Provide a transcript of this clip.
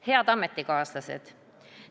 Head ametikaaslased!